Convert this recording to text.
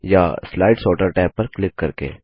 या slide sorter tab पर click करके